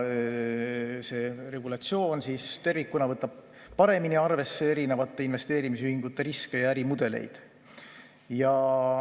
See regulatsioon tervikuna võtab paremini arvesse erinevate investeerimisühingute riske ja ärimudeleid.